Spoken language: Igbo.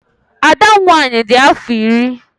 Ada m nwaanyị di afọ iri.